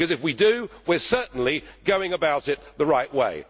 Because if we do, we are certainly going about it the right way.